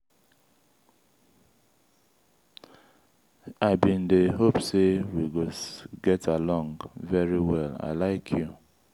i bin dey hope say we go get along very well i like you.